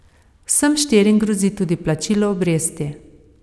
Vsem štirim grozi tudi plačilo obresti.